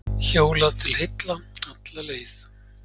Hjólað til heilla alla leið